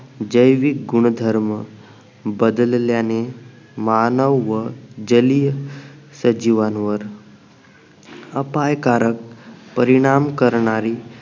जैविक गुणधर्म बदलल्याने मानव व जलीय सजीवांवर अपायकारक परिणाम करणारी